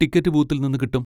Ticket ബൂത്തിൽന്ന് കിട്ടും.